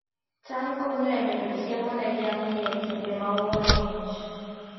cham konyo e medo chiemo ne jamni e kinde ma oro ng'ich